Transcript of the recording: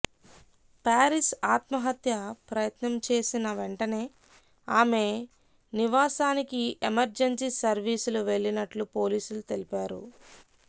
Paris ఆత్మహత్య ప్రయత్నం చేసిన వెంటనే ఆమె నివాసానికి ఎమర్జన్సీ సర్వీసులు వెళ్లినట్లు పోలీసులు తెలిపారు